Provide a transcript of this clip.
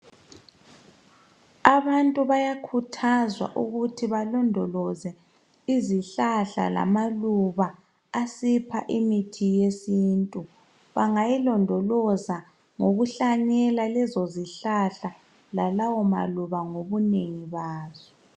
Abantu bayakhuthazwa ukuthi balondoloze izihlahla lamaluba asipha imithi yesintu , bangayilondoloza ngokuhlanyela lezo zihlahla lalawo maluba ngobunengi bazo